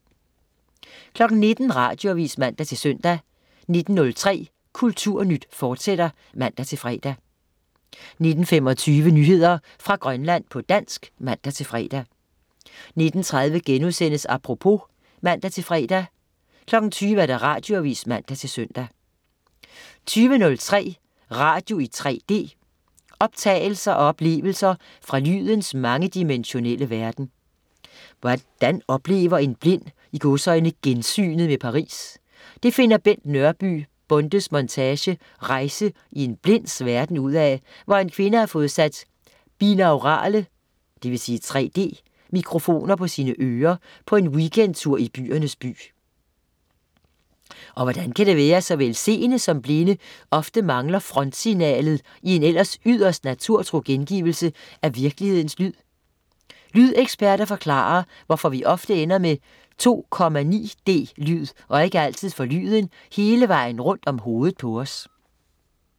19.00 Radioavis (man-søn) 19.03 Kulturnyt, fortsat (man-fre) 19.25 Nyheder fra Grønland, på dansk (man-fre) 19.30 Apropos* (man-fre) 20.00 Radioavis (man-søn) 20.03 Radio i 3D. Opdagelser og oplevelser fra lydens mangedimensionelle verden. Hvordan oplever en blind "gensynet" med Paris? Det finder Bent Nørby Bondes montage "Rejse i en Blinds Verden" ud af, hvor en kvinde har fået sat binaurale (3D) mikrofoner på sine ører på en weekendtur i byernes by. Og hvordan kan det være, at såvel seende som blinde ofte mangler frontsignalet i en ellers yderst naturtro gengivelse af virkelighedens lyd? Lydeksperter forklarer, hvorfor vi ofte ender med 2,9 D-lyd og ikke altid får lyden hele vejen rundt om hovedet på os